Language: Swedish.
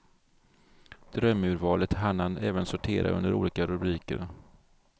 Drömurvalet hann han även sortera under olika rubriker.